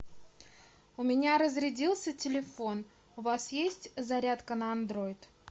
у меня разрядился телефон у вас есть зарядка на андроид